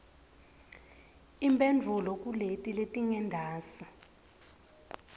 imphendvulo kuleti letingentasi